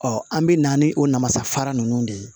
an bɛ na ni o namasafara ninnu de ye